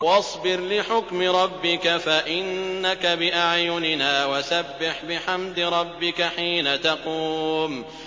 وَاصْبِرْ لِحُكْمِ رَبِّكَ فَإِنَّكَ بِأَعْيُنِنَا ۖ وَسَبِّحْ بِحَمْدِ رَبِّكَ حِينَ تَقُومُ